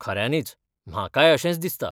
खऱ्यानीच, म्हाकाय अशेंच दिसता.